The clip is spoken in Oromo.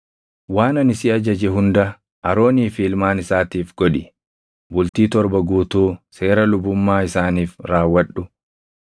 “Waan ani si ajaje hunda Aroonii fi ilmaan isaatiif godhi. Bultii torba guutuu seera lubummaa isaaniif raawwadhu.